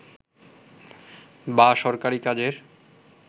বা সরকারি কাজের